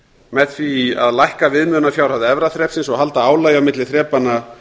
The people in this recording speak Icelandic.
með því að lækka viðmiðunarfjárhæð efra þrepsins og halda álagi á milli þrepanna